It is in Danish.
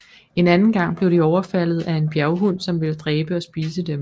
En anden gang blev de overfaldet af en bjerghund som ville dræbe og spise dem